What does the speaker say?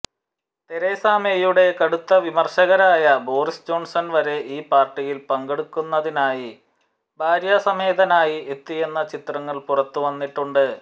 Teresa മേയുടെ കടുത്ത വിമർശകരനായ ബോറിസ് ജോൺസൻ വരെ ഈ പാർട്ടിയിൽ പങ്കെടുക്കുന്നതിനായി ഭാര്യസമേതനായി എത്തിയെന്ന ചിത്രങ്ങൾ പുറത്ത് വന്നിട്ടുണ്ട്